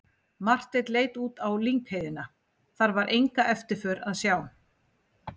Marteinn leit út á lyngheiðina, þar var enga eftirför að sjá.